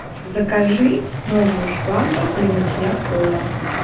закажи новую швабру для мытья пола